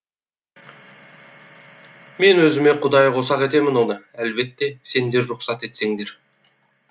мен өзіме құдайы қосақ етемін оны әлбетте сендер рұқсат етсеңдер